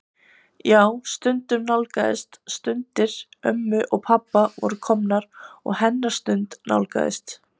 Já, stundin nálgaðist, stundir ömmu og pabba voru komnar og hennar stund nálgaðist.